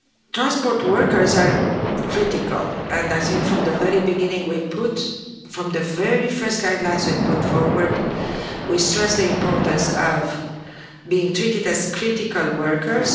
Transport workers are critical and I think from the very beginning, from the very first guidelines we put forward, we stressed the importance of them being treated as critical workers.